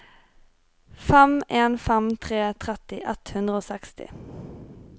fem en fem tre tretti ett hundre og seksti